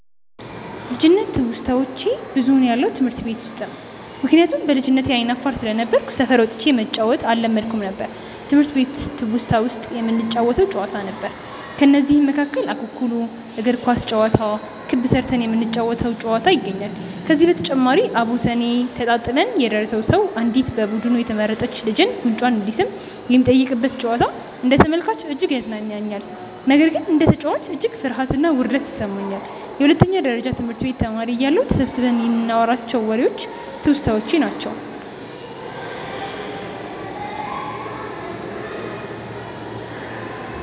ልጅነት ትውስታዋች ብዙውን ያለው ትምህርት ቤት ውስጥ ነው። ምክንያቱም በልጅነቴ አይነ አፋር ስለነበርኩ ሰፈር ወጥቼ መጫዎትን አለመድኩም ነበር። ትምህርት ቤት ትውስታ ውስጥ የምንጫወተው ጨዋታ ነው። ከነዚህም መካከል እኩኩሉ፣ እግር ኳስ ጨዋታ፣ ክብ ስርተን የምንጫወ ተው ጨዋታ ይገኛሉ። ከዚህ በተጨማሪም አቦሰኔ ተጣጥለን የደረሰው ሰው አንዲት በቡዱኑ የተመረጥች ልጅን ጉንጯን እንዲስም የሚጠየቅበት ጨዋታ አንደ ተመልካች እጅግ ያዝናናኛል። ነገር ግን እንደ ተጨዋች እጅግ ፍርሀትና ውርደት ይሰማኛል። የሁለተኛ ደረጀ ትምህርት ቤት ተማሪ እያለሁ ተሰብስበን ይንናዋራቸው ዎሬዎች ትውስታዎቼ ናቸው።